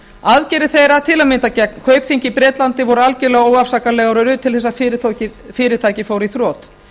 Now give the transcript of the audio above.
aðgerðir þeirra til að mynda gegn kaupþingi í bretlandi voru algjörlega óafsakanlegar og urðu til þess að fyrirtækið fór í þrot